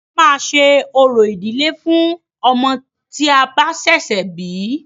A máa ṣe orò ìdílé fún ọmọ tí a bá ṣẹ̀ṣẹ̀ bí.